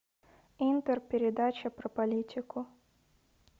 интер передача про политику